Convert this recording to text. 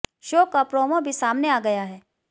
show का promo भी सामने आ गया है